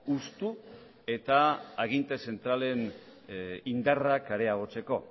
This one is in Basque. hustu eta aginte zentralen indarrak areagotzeko